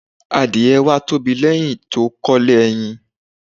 Àdie wá tóbi lẹ́hiń ti ó kólé ẹyin